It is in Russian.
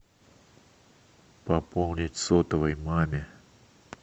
пополнить сотовый маме